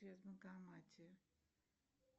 банкомате